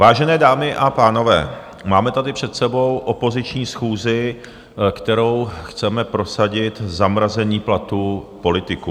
Vážené dámy a pánové, máme tady před sebou opoziční schůzi, kterou chceme prosadit zamrazení platů politiků.